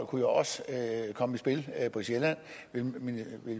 kunne jo også komme i spil på sjælland ville